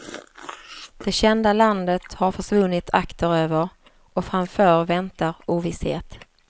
Det kända landet har försvunnit akteröver och framför väntar ovisshet.